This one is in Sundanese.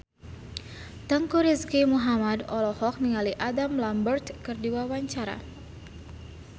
Teuku Rizky Muhammad olohok ningali Adam Lambert keur diwawancara